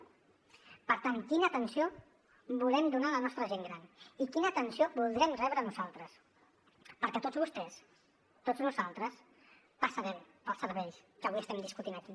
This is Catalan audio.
per tant quina atenció volem donar a la nostra gent gran i quina atenció voldrem rebre nosaltres perquè tots vostès tots nosaltres passarem pels serveis que avui estem discutint aquí